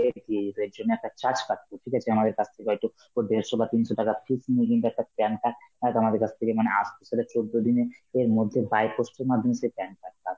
দিয়ে যেত, এর জন্য একটা charge কাটতো ঠিক আছে, আমাদের কাছ থেকে হয়তো দেড়শ বা তিনশো টাকা fees নিয়ে কিন্তু একটা PAN card অ্যাঁ তো আমাদের কাছ থেকে মানে আসতে সেটা চৌদ্দ দিনের এ মধ্যে by post এর মাধ্যমে সেই PAN card টা আস্ত,